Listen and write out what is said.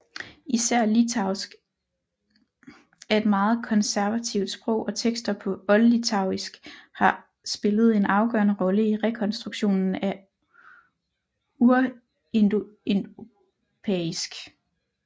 Især litauisk er et meget konservativt sprog og tekster på oldlitauisk har spillet en afgørende rolle i rekonstruktionen af urindoeuropæisk